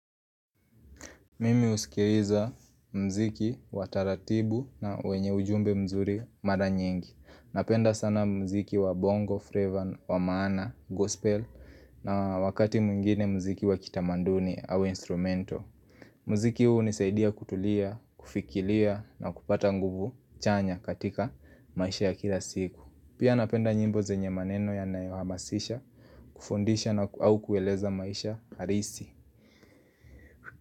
Mimi usikiliza mziki wa taratibu na wenye ujumbe mzuri mara nyingi Napenda sana mziki wa bongo, frevan, wa maana, gospel na wakati mwingine mziki wa kitamanduni au instrumento Mziki huu nisaidia kutulia, kufikilia na kupata nguvu chanya katika maisha ya kila siku Pia napenda njimbo zenye maneno ya nayo hamasisha, kufundisha na au kueleza maisha harisi.